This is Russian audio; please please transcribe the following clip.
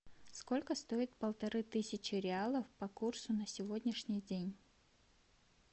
сколько стоит полторы тысячи реалов по курсу на сегодняшний день